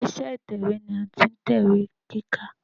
Ilé iṣẹ́ ìtẹ̀wẹ́ ni a ti ń tẹ̀wé kíkà.